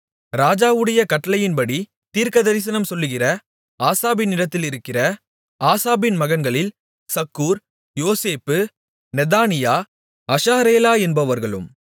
ராஜாவுடைய கட்டளையின்படித் தீர்க்கதரிசனம் சொல்லுகிற ஆசாப்பினிடத்திலிருக்கிற ஆசாப்பின் மகன்களில் சக்கூர் யோசேப்பு நெதானியா அஷாரேலா என்பவர்களும்